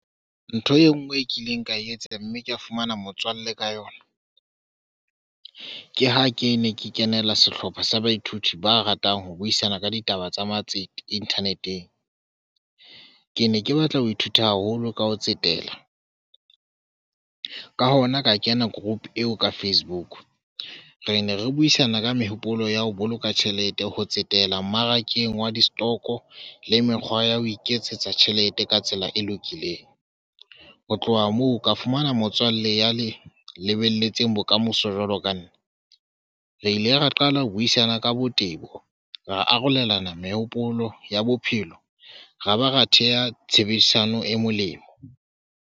Ntho e ngwe e kileng ka e etsang mme ka fumana motswalle ka yona. Ke ha ke ne ke kenela sehlopha sa baithuti ba ratang ho buisana ka ditaba tsa matsete internet-ng. Ke ne ke batla ho ithuta haholo ka ho tsetela ka hona ka kena group eo ka Facebook. Re ne re buisana ka mehopolo ya ho boloka tjhelete ho tsetela mmarakeng wa di stock-o le mekgwa ya ho iketsetsa tjhelete ka tsela e lokileng, ho tloha moo ka fumana motswalle ya Lebelletseng bokamoso jwalo ka nna. Re ile ra qala ho buisana ka botebo, ra arolelana mehopolo ya bophelo, ra ba ra theha tshebedisano e molemo.